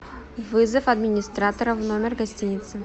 вызов администратора в номер гостиницы